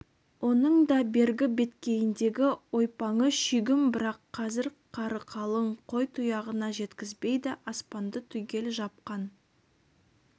оның да бергі беткейіндегі ойпаңы шүйгін бірақ қазір қары қалың қой тұяғына жеткізбейді аспанды түгел жапқан